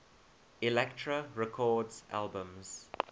elektra records albums